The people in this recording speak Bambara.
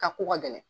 Ka ko ka gɛlɛn